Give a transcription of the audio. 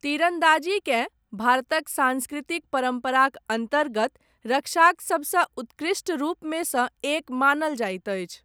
तीरन्दाजीकेँ, भारतक साँस्कृतिक परम्पराक अन्तर्गत रक्षाक, सबसँ उत्कृष्ट रूपमे सँ, एक मानल जाइत अछि।